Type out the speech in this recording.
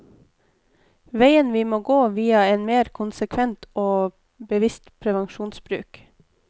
Veien må gå via en mer konsekvent og bevisst prevensjonsbruk.